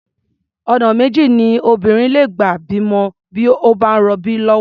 Ọ̀nà méjì ni obìnrin lè gbà bímọ bí ó bá ń rọbí lọ́wọ́.